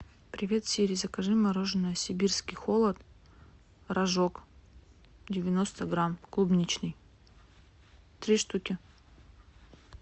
привет сири закажи мороженое сибирский холод рожок девяносто грамм клубничный три штуки